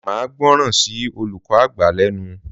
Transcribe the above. Máa gbọ́ràn ṣí olùkó àgbà lénu